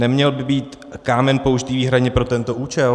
Neměl by být kámen použit výhradně pro tento účel?